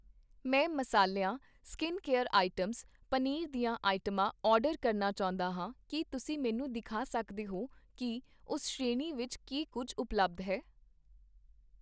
ਮੈਂ ਮਸਾਲਿਆਂ, skin care items, paneer ਦੀਆਂ ਆਈਟਮਾਂ ਆਰਡਰ ਕਰਨਾ ਚਾਹੁੰਦਾ ਹਾਂ, ਕੀ ਤੁਸੀਂ ਮੈਨੂੰ ਦਿਖਾ ਸਕਦੇ ਹੋ ਕੀ ਉਸ ਸ਼੍ਰੇਣੀ ਵਿੱਚ ਕੀ ਕੁੱਝ ਉਪਲੱਬਧ ਹੈ?